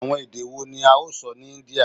Awọn ede wo ni a o sọ ni India?